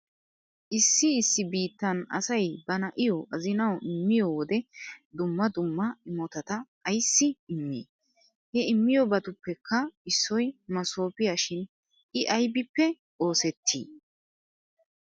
Issi issi biittan asay ba na'iyo azinawu immiyo wode dumma dumma imotata ayssi immi? He immiyobatuppekka issoy masoofiya shin i aybippe oosetti?